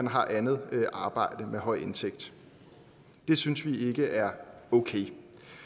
har andet arbejde med høj indtægt det synes vi ikke er okay